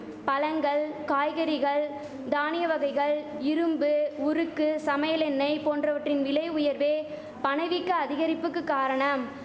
பழங்கள் காய்கறிகள் தானிய வகைகள் இரும்பு உருக்கு சமையல் எண்ணெய் போன்றவற்றின் விலை உயர்வே பணவீக்க அதிகரிப்புக்கு காரணம்